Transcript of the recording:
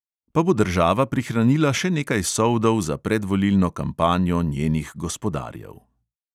Pa bo država prihranila še nekaj soldov za predvolilno kampanjo njenih gospodarjev.